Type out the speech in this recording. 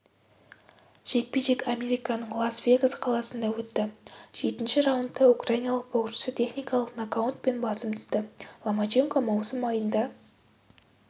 жекпе-жек американың лас-вегас қаласында өтті жетінші раундта украиналық боксшы техникалық нокаутпен басым түсті ломаченко маусым айында